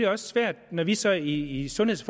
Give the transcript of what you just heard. også svært når vi så i sundheds